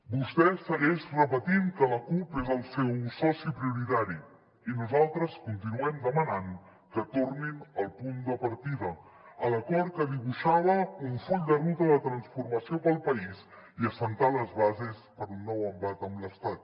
vostè segueix repetint que la cup és el seu soci prioritari i nosaltres continuem demanant que tornin al punt de partida a l’acord que dibuixava un full de ruta de transformació per al país i a assentar les bases per a un nou embat amb l’estat